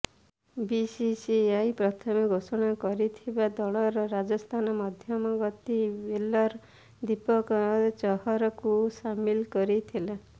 BCCI ପ୍ରଥମେ ଘୋଷଣା କରିଥିବା ଦଳରେ ରାଜସ୍ଥାନ ମଧ୍ୟମଗତି ବୋଲର ଦୀପକ ଚହରଙ୍କୁ ସାମିଲ କରିଥିଲା